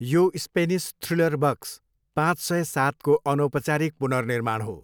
यो Spanish thriller बक्स पाँच सय सातको अनौपचारिक पुनर्निर्माण हो।